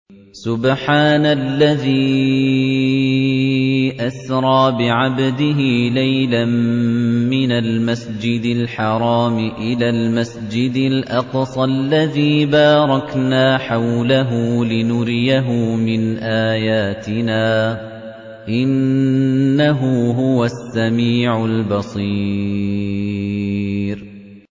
سُبْحَانَ الَّذِي أَسْرَىٰ بِعَبْدِهِ لَيْلًا مِّنَ الْمَسْجِدِ الْحَرَامِ إِلَى الْمَسْجِدِ الْأَقْصَى الَّذِي بَارَكْنَا حَوْلَهُ لِنُرِيَهُ مِنْ آيَاتِنَا ۚ إِنَّهُ هُوَ السَّمِيعُ الْبَصِيرُ